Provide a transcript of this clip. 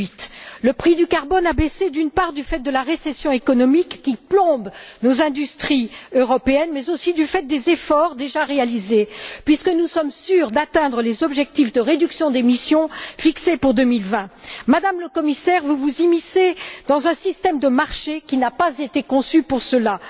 2008. Le prix du carbone a baissé, d'une part, du fait de la récession économique qui plombe nos industries européennes, mais aussi du fait des efforts déjà réalisés, puisque nous sommes sûrs d'atteindre les objectifs de réduction d'émissions fixés pour 2020. Madame le Commissaire, vous vous immiscez dans un système de marché qui n'a pas été conçu pour cela.